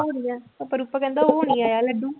ਰੂਪਾ ਕਹਿੰਦਾ ਉਹ ਨੀ ਆਇਆ ਲੱਡੂ।